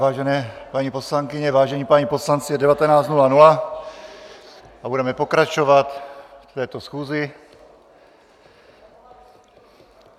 Vážené paní poslankyně, vážení páni poslanci, je 19.00 a budeme pokračovat v této schůzi.